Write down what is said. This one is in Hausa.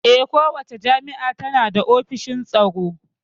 Eh, kowace jami'a tana da ofishin tsaro